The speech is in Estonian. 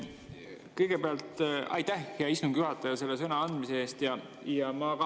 Kõigepealt aitäh, hea istungi juhataja, sõnaandmise eest!